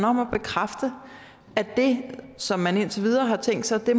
om at bekræfte at det som man indtil videre har tænkt sig at